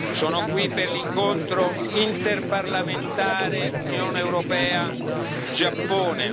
Sono qui per l'incontro interparlamentare Unione europea Giappone.